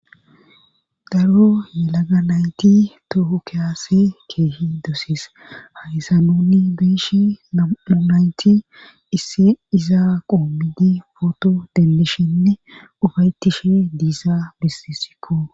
daro yelaga nayti toho kease keehi dosees haysa nunni beeshi namu. nayti issi izaa qoommidi footo denlishinne ufaytishe diisaa bisisikko